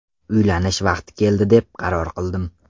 Uylanish vaqti keldi deb qaror qildim.